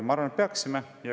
Mina arvan, et peaksime.